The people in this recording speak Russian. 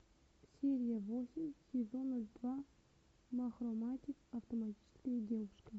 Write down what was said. серия восемь сезона два махороматик автоматическая девушка